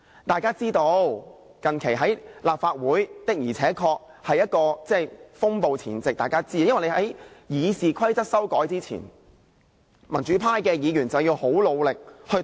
大家也知道，近期立法會確實處於風暴前夕，因為在修訂《議事規則》前，民主派議員要努力地抵擋。